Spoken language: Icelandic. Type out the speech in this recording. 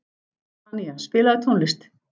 Tanía, spilaðu tónlist.